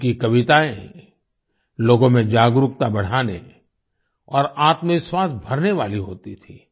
उनकी कवितायें लोगों में जागरूकता बढ़ाने और आत्मविश्वास भरने वाली होती थीं